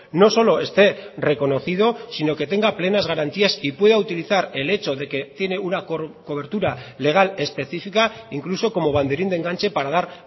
no solo esté reconocido sino que tenga plenas garantías y pueda utilizar el hecho de que tiene una cobertura legal especifica incluso como banderín de enganche para dar